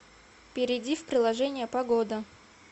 перейди в приложение погода